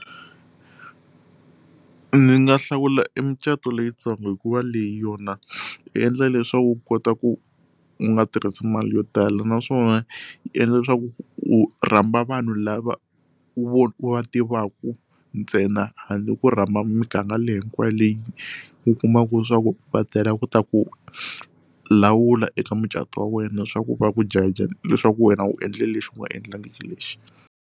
Ni nga hlawula emicato leyitsongo hikuva leyi yona yi endla leswaku u kota ku u nga tirhisi mali yo tala naswona yi endla leswaku u rhamba vanhu lava u va tivaka ntsena handle ko rhamba miganga leyi hinkwayo leyi u kumaka leswaku va tela ku ta ku lawula eka mucato wa wena swa ku va ku judger leswaku wena u endle lexi u nga endlangiki lexi.